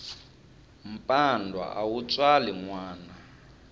mpandwa a wu tswali nwana